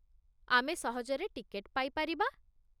ଆମେ ସହଜରେ ଟିକେଟ ପାଇପାରିବା